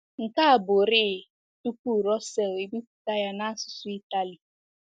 Nke a bụrịị tupu Russell ebipụta ya n’asụsụ Italy.